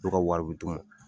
u ka wari bid'u ma.